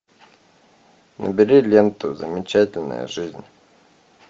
набери ленту замечательная жизнь